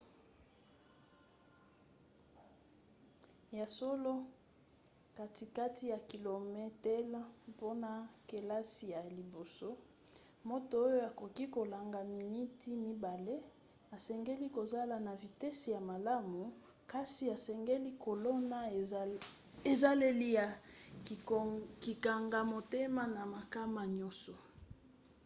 ya solo katikati ya kilometele mpona kelasi ya liboso moto oyo akoki kolonga miniti mibale asengeli kozala na vitese ya malamu kasi asengeli kolona ezaleli ya kokanga motema na makama nyonso